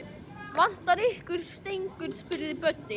Vantar ykkur ekki stengur? spurði Böddi.